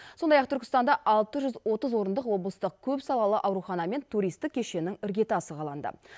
сондай ақ түркістанда алты жүз отыз орындық облыстық көпсалалы аурухана мен туристік кешеннің іргетасы қаланды